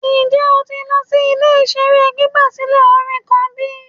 Njẹ o ti lọ si ile-iṣere gbigbasilẹ orin kan bi?